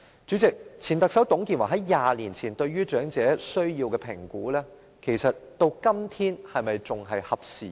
主席，前特首在20年前對長者需要的評估，到了今天可能已不合事宜。